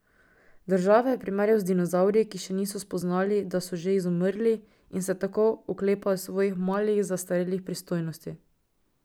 Države je primerjal z dinozavri, ki še niso spoznali, da so že izumrli, in se tako oklepajo svojih malih zastarelih pristojnosti.